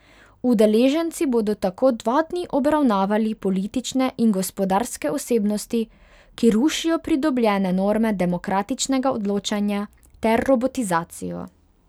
Udeleženci bodo tako dva dni obravnavali politične in gospodarske osebnosti, ki rušijo pridobljene norme demokratičnega odločanja, ter robotizacijo.